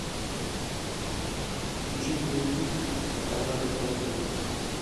включи боевик на канале тв три